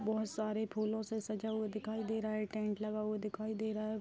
बहोत सारे फूलो से सजा हुआ दिखाई दे रहा है टेंट लगा हुआ दिखाई दे रहा है।